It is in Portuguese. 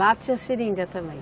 Lá tinha seringa também?